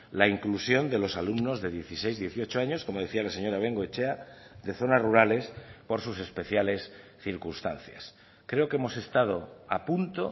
la inclusión de los alumnos de dieciséis dieciocho años como decía la señora bengoechea de zonas rurales por sus especiales circunstancias creo que hemos estado a punto